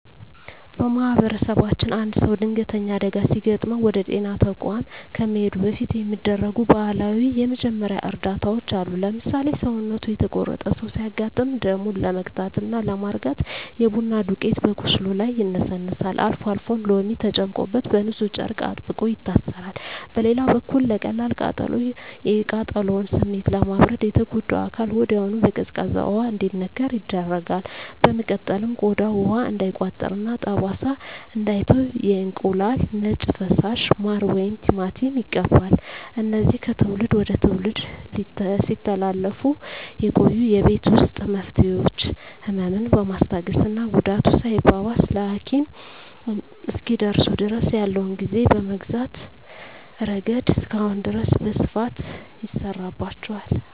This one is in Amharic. በማኅበረሰባችን አንድ ሰው ድንገተኛ አደጋ ሲገጥመው ወደ ጤና ተቋም ከመሄዱ በፊት የሚደረጉ ባህላዊ የመጀመሪያ እርዳታዎች አሉ። ለምሳሌ፣ ሰውነቱ የተቆረጠ ሰው ሲያጋጥም ደሙን ለመግታትና ለማርጋት የቡና ዱቄት በቁስሉ ላይ ይነሰነሳል፤ አልፎ አልፎም ሎሚ ተጨምቆበት በንፁህ ጨርቅ አጥብቆ ይታሰራል። በሌላ በኩል ለቀላል ቃጠሎ፣ የቃጠሎውን ስሜት ለማብረድ የተጎዳው አካል ወዲያውኑ በቀዝቃዛ ውሃ እንዲነከር ይደረጋል። በመቀጠልም ቆዳው ውሃ እንዳይቋጥርና ጠባሳ እንዳይተው የእንቁላል ነጭ ፈሳሽ፣ ማር ወይም ቲማቲም ይቀባል። እነዚህ ከትውልድ ወደ ትውልድ ሲተላለፉ የቆዩ የቤት ውስጥ መፍትሄዎች፣ ህመምን በማስታገስና ጉዳቱ ሳይባባስ ለሐኪም እስኪደርሱ ድረስ ያለውን ጊዜ በመግዛት ረገድ እስካሁን ድረስ በስፋት ይሠራባቸዋል።